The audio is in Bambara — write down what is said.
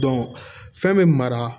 fɛn bɛ mara